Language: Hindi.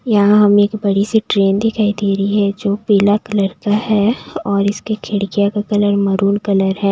यहां हमें एक बड़ी सी ट्रेन दिखाई दे रही है जो पीला कलर का है और इसके खिड़किया का कलर मरून कलर है।